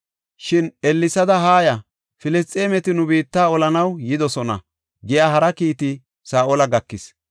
Shin, “Ellesada haaya; Filisxeemeti nu biitta olanaw yidosona” giya hara kiiti Saa7ola gakis.